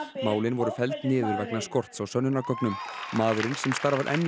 málin voru felld niður vegna skorts á sönnunargögnum maðurinn sem starfar enn